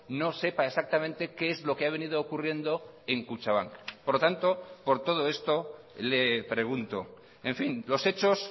no sepa exactamente qué es lo que ha venido ocurriendo en kutxabank por lo tanto por todo esto le pregunto en fin los hechos